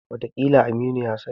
Wataƙila Aminu ya sani.